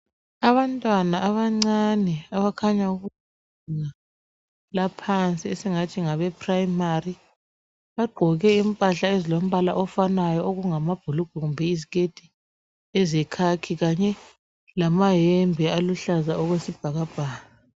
Abantwana abancane, abakhanya kubanga laphansi, esingathi ngabeprimary. Bagqoke impahla ezilombala ofanayo. Okungamabhulugwe kumbe iziketi, ezekhakhi. Kanye lamayembe aluhlaza okwesibhakabhaka.